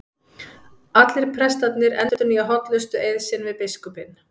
Allir prestarnir endurnýja hollustueið sinn við biskupinn.